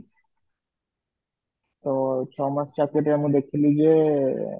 ତ ଛ ମାସ ଚାକିରି ରେ ମୁଁ ଦେଖିଲି ଯେ